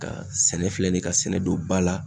Ka sɛnɛ filɛ nin ye ka sɛnɛ don ba la